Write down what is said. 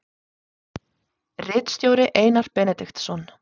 Ritstjóri Einar Benediktsson.